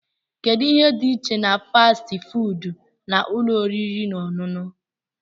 Kedu ihe dị iche na fasti fuudu na ụlọ oriri na ọṅụṅụ?